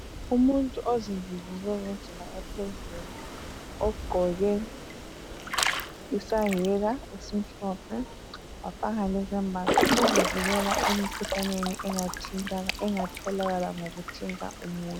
umuntu ozivikela ngendlela ephezulu ogqoke isahika esimhlophe wafaka lesembatho ezivikela emikhuhlaneni engatholakala ngokuthinta umuntu